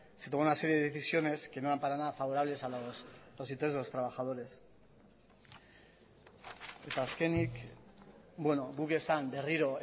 se tomó una serie de decisiones que no eran para nada favorables a los intereses de los trabajadores eta azkenik guk esan berriro